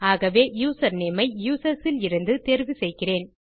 ஆகவே யூசர்நேம் ஐ யூசர்ஸ் இலிருந்து தேர்வு செய்கிறேன்